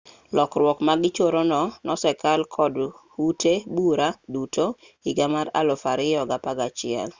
lokruak magichoro no nosekal kod ute bura duto higa mar 2011